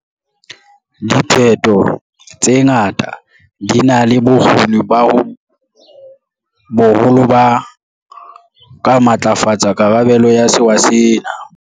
Diphetho tsena di na le bokgoni bo boholo ba ho ka matlafatsa karabelo ya sewa sena.